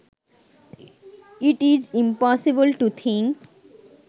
it is impossible to think